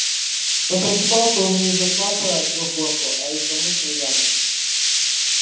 но просыпался он не из-за сна про трёхгорку а из-за мутной ямы